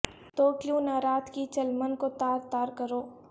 تو کیوں نہ رات کی چلمن کو تار تار کروں